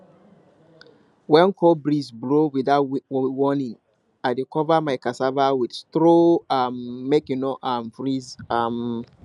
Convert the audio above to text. when cold breeze blow without warning i dey cover my cassava with straw um make e no um freeze um